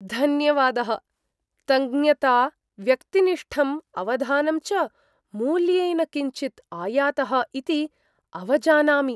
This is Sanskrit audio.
धन्यवादः। तञ्ज्ञता, व्यक्तिनिष्ठं अवधानं च मूल्येन किञ्चित् आयातः इति अवजानामि।